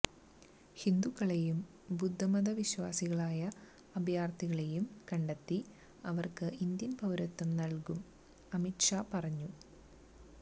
ഹിന്ദുക്കളെയും ബുദ്ധമത വിശ്വാസികളായ അഭയാര്ഥികളെയും കണ്ടെത്തി അവര്ക്ക് ഇന്ത്യന് പൌരത്വം നല്കും അമിത് ഷാ പറഞ്ഞു